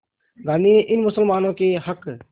गांधी ने इन मुसलमानों के हक़